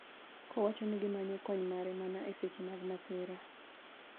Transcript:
kowacho ni gimanyo kony mare mana e seche mag masira.